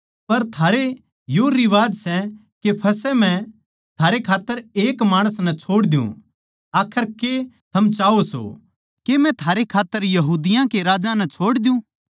पर थारै यो रिवाज सै के मै फसह पै थारै खात्तर एक माणस नै छोड़ दियुँ आखर के थम चाह्वो सो के मै थारै खात्तर यहूदिया कै राजै नै छोड़ दियुँ